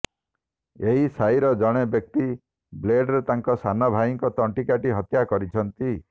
ଏହି ସାହିରେ ଜଣେ ବ୍ୟକ୍ତି ବ୍ଲେଡରେ ତାଙ୍କ ସାନ ଭାଇଙ୍କ ତଣ୍ଟି କାଟି ହତ୍ୟା କରିଛନ୍ତି